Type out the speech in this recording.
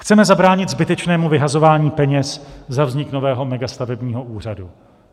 Chceme zabránit zbytečnému vyhazování peněz za vznik nového megastavebního úřadu.